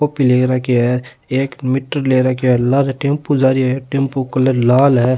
Copy ले रखे है एक मीटर ले राखो है एक लार टेम्पो जा रो है टेम्पो को कलर लाल है।